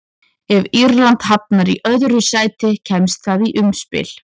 Ef Írland hafnar í öðru sæti kemst það í umspil.